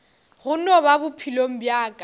gona mo bophelong bja ka